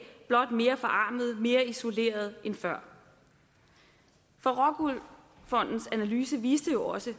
blot mere forarmede og mere isolerede end før for rockwool fondens analyse viste jo også